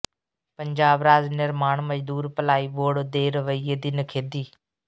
ਪੰਜਾਬ ਰਾਜ ਨਿਰਮਾਣ ਮਜ਼ਦੂਰ ਭਲਾਈ ਬੋਰਡ ਦੇ ਰਵੱਈਏ ਦੀ ਨਿਖੇਧੀ